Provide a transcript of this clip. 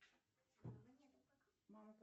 вот смотри